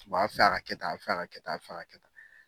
A bɛ fɛ a ka kɛ tan, a bɛ fɛ a ka kɛ tan, a bɛ fɛ a ka tan.